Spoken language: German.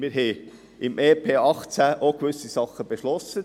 Wir haben im EP 2018 auch gewisse Dinge beschlossen.